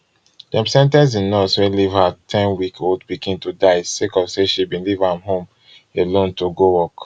dem sen ten ce di nurse wey leave her ten weekold pikin to die sake of say she bin leave am home alone to go work